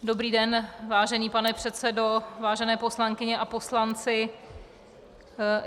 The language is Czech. Dobrý den, vážený pane předsedo, vážené poslankyně a poslanci.